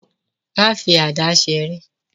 Má fi àdá seré.